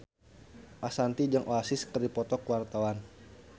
Ashanti jeung Oasis keur dipoto ku wartawan